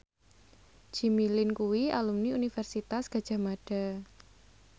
Jimmy Lin kuwi alumni Universitas Gadjah Mada